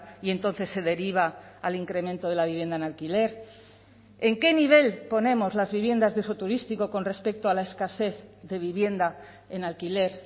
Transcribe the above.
y entonces se deriva al incremento de la vivienda en alquiler en qué nivel ponemos las viviendas de uso turístico con respecto a la escasez de vivienda en alquiler